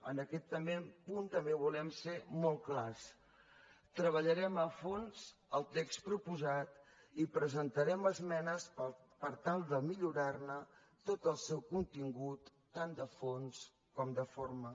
en aquest punt també volem ser molt clars treballarem a fons el text proposat i presentarem esmenes per tal de millorarne tot el seu contingut tant de fons com de forma